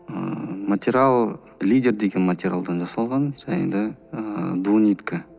ммм материал лидер деген материалдан жасалған жаңағы енді двунитка